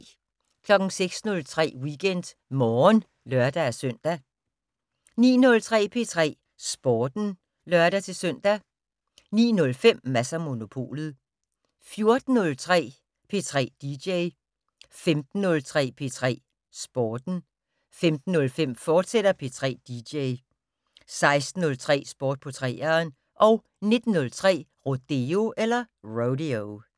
06:03: WeekendMorgen (lør-søn) 09:03: P3 Sporten (lør-søn) 09:05: Mads & Monopolet 14:03: P3 dj 15:03: P3 Sporten 15:05: P3 dj, fortsat 16:03: Sport på 3'eren 19:03: Rodeo